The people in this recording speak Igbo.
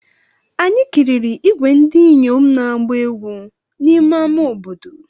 Anyị kiriri ìgwè ndị inyom na-agba egwú n'ime ama obodo.